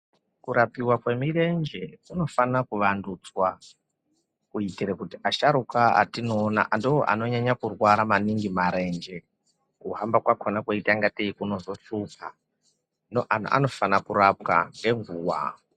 Kurapiwa kwemirenje kunofana kuvandudzwa kuitire kuti asharuka atinoona ndoanonyanya kurwara maningi marenje, kuhamba kwakona kweiita ngatei kunozoshupa. Hino anofana kurapwa ngenguva.